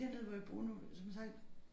Dernede hvor jeg bor nu som sagt